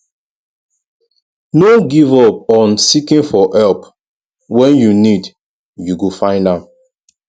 no give up on seeking for help when you need you go find am